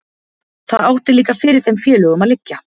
það átti líka fyrir þeim félögunum að liggja